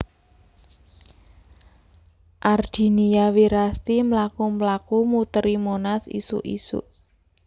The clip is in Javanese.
Ardinia Wirasti mlaku mlaku muteri Monas isuk isuk